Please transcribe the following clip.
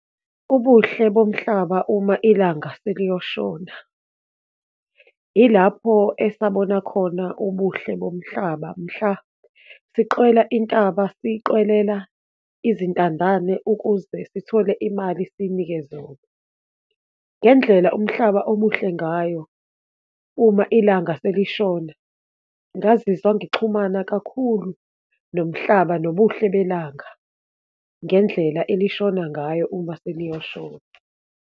Ubuhle bomhlaba uma ilanga seliyoshona. Ilapho esabona khona ubuhle bomhlaba mhla siqwela intaba, siyiqwelela izintandane ukuze sithole imali siyinike zona. Ngendlela umhlaba omuhle ngayo uma ilanga selishona, ngazizwa ngixhumana kakhulu nomhlaba, nobuhle belanga, ngendlela elishona ngayo uma seliyoshona.